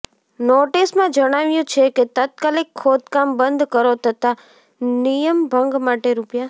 નોટીસમાં જણાવાયુ છે કે તાત્કાલિક ખોદકામ બંધ કરો તથા નિયમભંગ માટે રૂ